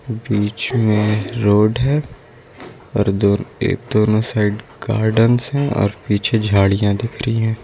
बीच में रोड है और ये दोनो साइड गार्डन है और पीछे झाड़ियां दिख रही है।